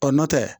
Ɔ n'o tɛ